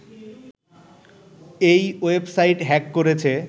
এই website hack করেছে